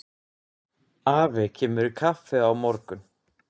Afi kemur í kaffi á morgun.